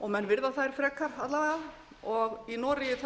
og menn virða þær frekar alla vega og í noregi